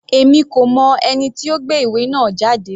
Èmi kò mọ ẹni tí ó gbé ìwé náà jáde.